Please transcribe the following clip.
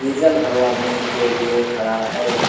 Diesel भरवाने के लिए खड़ा है।